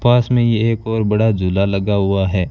पास में ये एक और बड़ा झूला लगा हुआ है।